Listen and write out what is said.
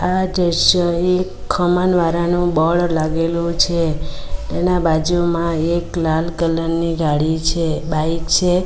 આ દ્રશ્ય એક ખમણવારાનું બોર્ડ લાગેલુ છે તેના બાજુમાં એક લાલ કલર ની ગાડી છે બાઈક છે.